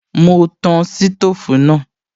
Mo tan sítòfù náà